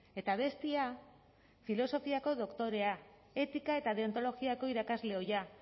eta bestea filosofiako doktorea etika eta deontologiako irakasle ohia